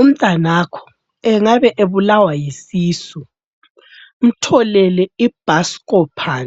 Umntanakho engabe ebulawa yisisu umtholele iBuscopan